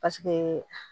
Paseke